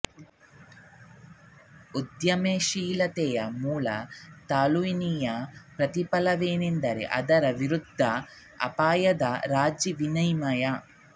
ಉದ್ಯಮಶೀಲತೆಯ ಮೂಲ ತುಲನೆಯ ಪ್ರತಿಫಲವೇನೆಂದರೆ ಅದರ ವಿರುದ್ಧ ಅಪಾಯದ ರಾಜಿ ವಿನಿಮಯ